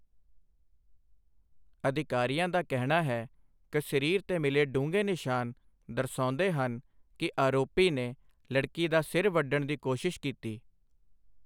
ਅਧਿਕਾਰੀਆਂ ਦਾ ਕਹਿਣਾ ਹੈ ਕਿ ਸਰੀਰ 'ਤੇ ਮਿਲੇ ਡੂੰਘੇ ਨਿਸ਼ਾਨ ਦਰਸਾਉਂਦੇ ਹਨ ਕਿ ਆਰੋਪੀ ਨੇ ਲੜਕੀ ਦਾ ਸਿਰ ਵੱਢਣ ਦੀ ਕੋਸ਼ਿਸ਼ ਕੀਤੀ।